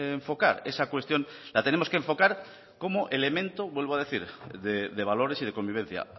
enfocar esa cuestión la tenemos que enfocar como elemento vuelvo a decir de valores y de convivencia